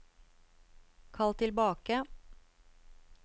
kall tilbake